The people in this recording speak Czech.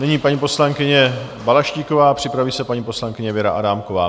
Nyní paní poslankyně Balaštíková, připraví se paní poslankyně Věra Adámková.